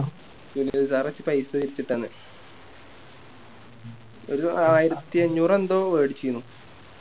Sunil Sir ഒക്കെ പൈസ തിരിച്ചിട്ടന്ന് ഒരു ആയിരത്തി അഞ്ഞൂറ് എന്തോ മേടിച്ചിന്നു